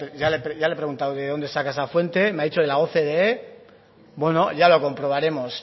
ya le preguntado de dónde saca esa fuente me ha dicho de la ocde bueno ya lo comprobaremos